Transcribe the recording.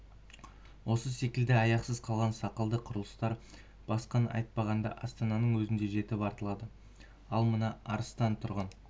осы секілді аяқсыз қалған сақалды құрылыстар басқаны айтпағанда астананың өзінде жетіп артылады ал мына арыстан тұрғын